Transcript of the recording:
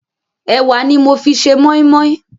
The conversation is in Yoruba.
Ẹ̀wà ni mo fi ṣe mọ́ímọ́í.